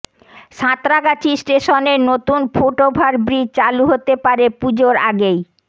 সাঁতরাগাছি স্টেশনের নতুন foot over bridge চালু হতে পারে পুজোর আগেই